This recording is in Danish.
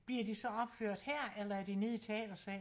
Bliver de så opført her eller er det nede i teatersalen?